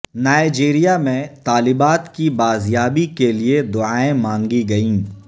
Nigeria میں طالبات کی بازیابی کے لیے دعائیں مانگی گئیں